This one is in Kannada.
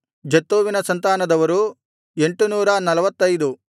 ಜತ್ತೂವಿನ ಸಂತಾನದವರು 845